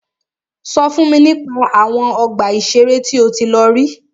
Sọ fún mi nípa àwọn ọgbà ìṣẹ̀rẹ́ tí o tí lọ rí.